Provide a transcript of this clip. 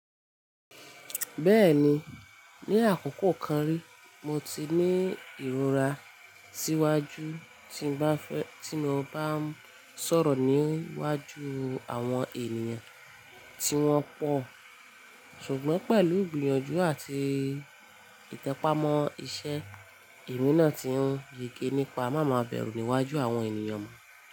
Bẹ́ẹ̀ni, ní àkókò kan rí mo ti ní ìrora síwájú tí mo bá ń sọ̀rọ̀ níwájú àwọn ènìyàn tí wọ́n pọ̀. Ṣùgbọ́n pẹ̀lú gbìyànjú àti ìtẹpámọ́ iṣẹ́, èmi náà ti ń yegé nípa máa máa bẹ̀rù níwájú àwọn ènìyàn mọ́.